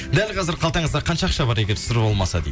дәл қазір қалтаңызда қанша ақша бар егер сыр болмаса дейді